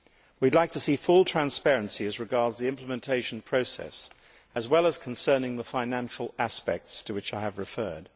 We would like to see full transparency as regards the implementation process as well as concerning the financial aspects to which I have referred.